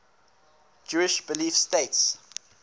jewish belief states